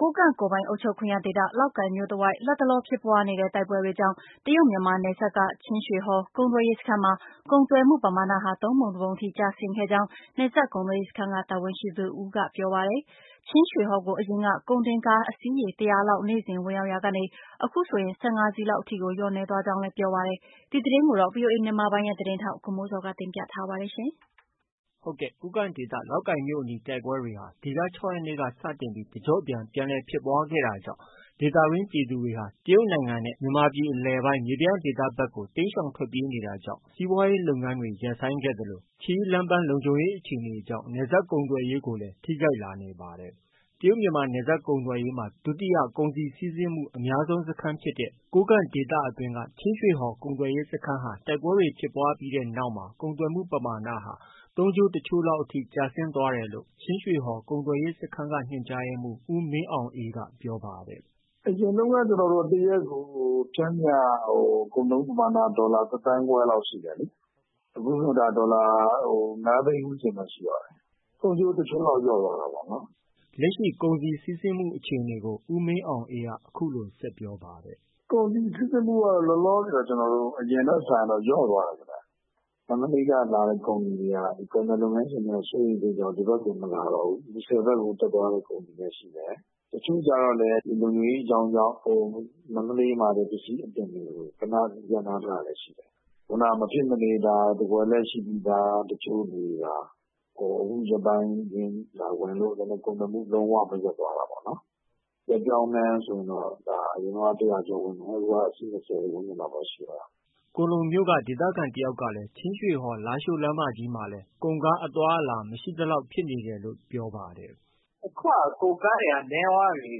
ကိုးကန့်ကိုယ်ပိုင်အုပ်ချုပ်ခွင့်ရဒေသ လောက်ကိုင်မြို့တဝိုက်မှာ လတ်တလောဖြစ်ပွားနေတဲ့ တိုက်ပွဲတွေကြောင့် တရုတ်မြန်မာနယ်စပ်က ချင်းရွှေဟော် ကုန်သွယ်ရေးစခန်းမှာ ကုန်သွယ်မှုပမာဏဟာ သုံးပုံတပုံအထိကျဆင်းခဲ့ကြောင်း နယ်စပ်ကုန်သွယ်ရေးစခန်းက တာဝန်ရှိသူတဦးက ပြောပါတယ်။ ချင်းရွှေဟော်ကို အရင်က ကုန်တင်ကားအစီး ရေ ၁၀၀လောက် နေ့စဉ် ဝင်ရောက်နေရာက အခုဆိုရင် ၁၅စီးလောက် အထိ လျော့နည်းသွားကြောင်း လည်း ပြောပါတယ်။ ဒီသတင်းကိုတော့ ဗွီအိုအေမြန်မာပိုင်းရဲ့ သတင်းထောက် ကိုမိုးဇော်က တင်ပြထားပါတယ်။ ကိုးကန့်ဒေသ လောက်ကိုင်မြို့တိုက်ပွဲတွေဟာ ဒီလ ၆ရက်နေ့က စတင်ပြီး တကျော့ပြန် ပြန်လည်ဖြစ်ပွားခဲ့တာကြောင့် ဒေသတွင်းပြည်သူတွေဟာ တရုတ်နိုင်ငံနဲ့ မြေပြန့်ဒေသဘက်ကို တိမ်းရှောင်ထွက်ပြေးနေတာကြောင့် စီးပွားရေးလုပ်ငန်းတွေ ရပ်ဆိုင်းခဲ့ရသလို ခရီးလမ်းပန်းလုံခြုံရေးအခြေအနေကြောင့် နယ်စပ်ကုန်သွယ်ရေးကိုလည်း ထိခိုက်လာနေပါတယ်။ တရုတ်မြန်မာနယ်စပ်ကုန်သွယ်ရေးမှာ ဒုတိယ ကုန်စည်စီးဆင်းမှု အများဆုံးစခန်း တခုဖြစ်တဲ့ ကိုးကန့်ဒေသအတွင်းက ချင်းရွှေဟော်ကုန်သွယ်ရေးစခန်းဟာ တိုက်ပွဲဖြစ်ပွားတဲ့နောက်မှာ ကုန်သွယ်မှုပမာဏဟာ သုံးချိုးတချိုးလောက် အထိကျဆင်းသွားတယ်လို့ ချင်းရွှေဟော်ကုန်သွယ်ရေးစခန်းက ညွှန်ကြားရေးမှုး ဦးမင်းအောင်အေးက ပြောပါတယ်။ “အရင်တုန်းက ကျနော်တို့ ၁ ရက်ကို ပျမ်းမျှ ကုန်သွယ်မှုပမာဏ ဒေါ်လာ ၁ သန်းခွဲလောက်ရှိတယ်။ အခုတော့ ဒေါ်လာ ၅ သိန်းလောက်တော့ရှိတယ်။ ၃ ချိုး ၁ ချိုးလောက်ဖြစ်သွားတာပေါ့နော်။” လက်ရှိ ကုန်စည်စီးဆင်းမှုအခြေအနေကိုလည်း ဦးမင်းအောင်အေးက အခုလို ဆက်ပြောပါတယ်။ “ကုန်စည်စီးဆင်းမှုကတော့ လောလောဆယ်ကတော့ အရင်ထက် စာရင်တော့ လျှော့ သွားတာပေါ့နော်။ မန္တလေးက လာတဲ့ကုန်တွေက ကုန်သည် လုပ်ငန်းရှင်များ စိုးရိမ်မှုကြောင့် ဒီဘက် ကိုတော့ မလာတော့ဘူး။ မူဆယ်ဘက်ကတော့ တက်သွား တဲ့ကုန်တွေတော့ရှိတယ်။ တချို့ကျတော့လည်း လုံခြုံရေးအကြောင်းကြောင့် မန္တလေးမှာပဲ ပစ္စည်းတွေကို ရပ်နားထားတာတွေရှိတယ်။ မဖြစ်မနေ ဝယ်လက်ရှိပြီးသား တချို့တွေသာ ဝင်လို့ ကုန်သွယ်မှုက လုံး၀ မရပ်သွားတာပေါ့နော်။ အရင်တုန်းက ၁၀၀ ကျော်ဝင်တယ် အခုတော့ အစီး ၂၀ ဝန်းကျင်လောက်ပဲ ရှိပါတယ်။” ကွမ်းလုံမြို့က ဒေသခံတယောက်ကလည်း ချင်းရွှေဟော်- လားရှိုး လမ်းမကြီးမှာလည်း ကုန်ကားအသွားအလာဟာ မရှိသလောက် ဖြစ်နေတယ်လို့ အခုလို ပြောပါတယ်။ “အခုက ကုန်ကားတွေကတော့ နည်းသွားပြီ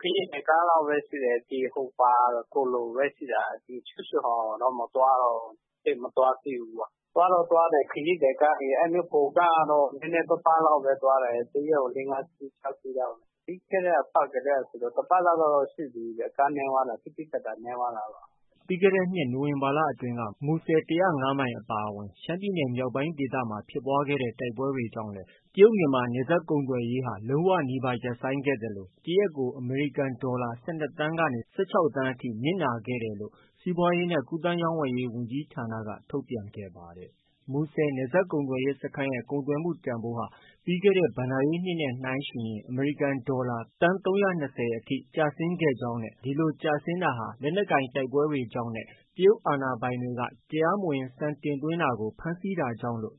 ကွမ်းလုံလောက်ပဲရှိတာ၊ ဒီ ချင်းရွှေဟော်ကိုတော့ မသွားတော့ဘူး ။ ခရီးသည်ကားတွေတော့သွားတယ်၊ ကုန်ကားကတော့ နည်းနည်းပါးပါးလောက်ပဲသွားတယ် ၁ ရက်ကို ၄-၅ စီးလောက်ပဲ သွားတယ်။ ပြီးခဲ့တဲ့အပတ်ကတည်းကဆိုရင် ၁ ပတ်လောက်တော့ရှိပြီခင်ဗျ ကားသိသိသာသာနည်းသွားတာပေါ့။” ပြီးခဲ့တဲ့နှစ် နိုဝင်ဘာလအတွင်း မူဆယ် ၁၀၅မိုင်အပါအဝင် ရှမ်းပြည်နယ်မြောက်ပိုင်းဒေသ မှာ ဖြစ်ပွားခဲ့တဲ့ တိုက်ပွဲတွေကြောင့်လည်း တရုတ် မြန်မာနယ်စပ်ကုန်သွယ်ရေးဟာ လုံးဝနီးပါးရပ်ဆိုင်းခဲ့သလို တရက်ကို အမေရိကန်ဒေါ်လာ ၁၂ သန်းမှ ၁၆ သန်းအထိ နစ်နာခဲ့တယ်လို့ စီးပွားရေးနှင့် ကူးသန်းရောင်းဝယ်ရေး ဝန်ကြီးဌာနက ထုတ်ပြန်ခဲ့ပါတယ်။ မူဆယ်နယ်စပ်ကုန်သွယ်ရေးစခန်းရဲ့ ကုန်သွယ်မှုတန်ဖိုးဟာ ပြီးခဲ့တဲ့ ဘဏ္ဍာရေးနှစ် နဲ့ နှိုင်းယှဉ်ရင် အမေရိကန်ဒေါ်လာ သန်း ၃၂၀ကျော်အထိ ကျဆင်းခဲ့ကြောင်းနဲ့ ဒီလို ကျဆင်းတာဟာ လက်နက်ကိုင်တိုက်ပွဲတွေကြောင့်နဲ့ တရုတ်အာဏာပိုင်တွေက တရားမဝင် ဆန်တင်သွင်းတာကို ဖမ်းဆီးတာကြောင့်လို့